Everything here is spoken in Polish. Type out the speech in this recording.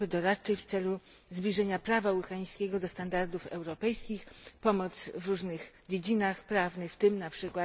grupy doradczej w celu zbliżenia prawa ukraińskiego do standardów europejskich, pomoc w różnych dziedzinach prawnych, w tym np.